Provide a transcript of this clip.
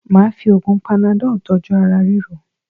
Máà fi oògùn panadọ́ọ̀ tọ́jú ara ríro